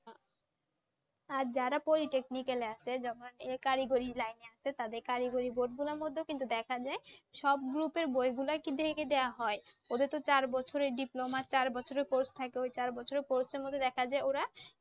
আর যারা poly technical আছে যখন এই কারিগরির লাইন আছে তাদের কারিগরি মধ্যেও কিন্তু দেখা যায়। সব group এর বইগুলাই কিন্তু দেওয়া হয়। ওদের তো চার বছরে diploma চার বছরের course থাকে, ঐ চার বছরের course এর মধ্যে দেখা যায় ওরা